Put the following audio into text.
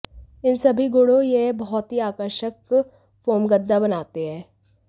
इन सभी गुणों यह बहुत ही आकर्षक फोम गद्दा बनाते हैं